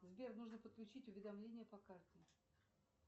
сбер нужно подключить уведомление по карте